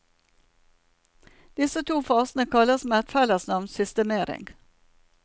Disse to fasene kalles med et fellesnavn systemering.